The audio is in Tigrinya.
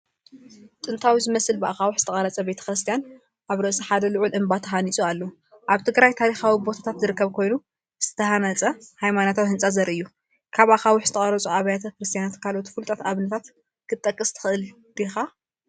ጥንታዊ ዝመስል ብኣኻውሕ ዝተቐርጸ ቤተ ክርስቲያን ኣብ ርእሲ ሓደ ልዑል እምባ ተሃኒጹ ኣሎ። ኣብ ትግራይ ታሪኻዊ ቦታታት ዝርከብ ኮይኑ፡ ዝተሃንጸ ሃይማኖታዊ ህንጻ ዘርኢ እዩ። ካብ ኣኻውሕ ዝተቐርጹ ኣብያተ ክርስቲያናት ካልኦት ፍሉጣት ኣብነታት ክትጠቅስ ትኽእል ዲኻ?